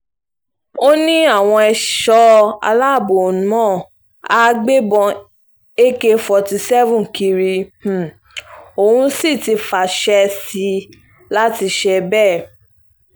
ó ó ní àwọn ẹ̀ṣọ́ aláàbọ̀ náà àá gbébọn ak forty seven kiri um òun sì ti fàṣẹ um sí i láti ṣe bẹ́ẹ̀